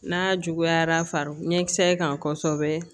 N'a juguyara ɲɛkisɛ kan kosɛbɛ